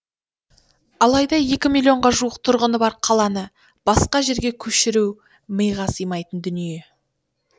алайда екі миллионға жуық тұрғыны бар қаланы басқа жерге көшіру миға сыймайтын дүние